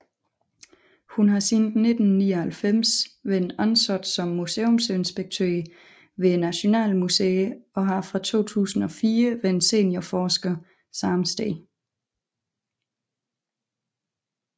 Hun har siden 1999 været ansat som museumsinspektør ved Nationalmuseet og fra 2004 været seniorforsker samme sted